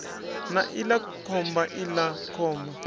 na iḽa khomba iḽa khomba